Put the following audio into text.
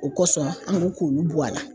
O kosɔn an ko k'olu bɔ a la.